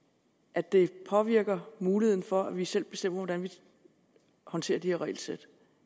at det påvirker muligheden for at vi selv bestemmer hvordan vi håndterer de her regelsæt